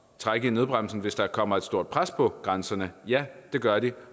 trække i nødbremsen hvis der kommer et stort pres på grænserne ja det gør det